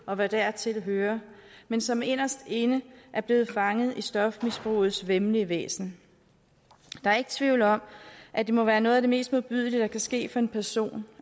og hvad dertil hører men som inderst inde er blevet fanget af stofmisbrugets væmmelige væsen der er ikke tvivl om at det må være noget af det mest modbydelige der kan ske for en person